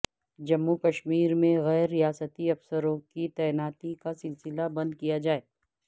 جموں کشمیر میں غیر ریاستی افسروں کی تعیناتی کا سلسلہ بند کیا جائے